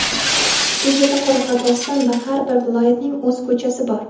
Bu yerda Qoraqalpog‘iston va har bir viloyatning o‘z ko‘chasi bor.